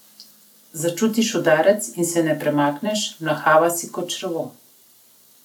Začutiš udarec in se ne premakneš, mlahava si kot črevo.